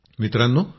मित्रांनो